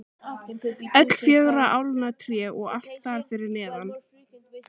Öll fjögurra álna tré og allt þar fyrir neðan.